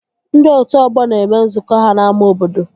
Ndị otu ọgbọ na-eme nzukọ ha n'ámá obodo